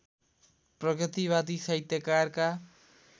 प्रगतिवादी साहित्यकारका